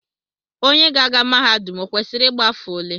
Onye ga-aga mahadum o kwesịrị ịgba afọ ole?